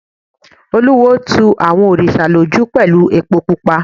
Olúwo tu àwọn òrìṣà lójú pẹ̀lú epo pupa.